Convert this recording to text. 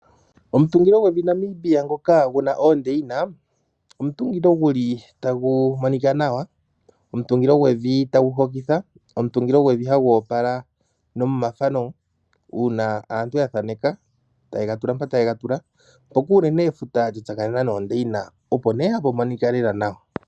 Omutungilo gwevi lyaNamibia ngoka guna oondeyina omutungilo gu li tagu monika nawa, omutungilo gwevi tagu hokitha omutungilo gwevi hagu opala nomomafano uuna aantu ya thaneka taye gatula mpa taye gatula. Mpoka unene efuta lyatsakanena noondeyina opo nee hapu monika lela nawa.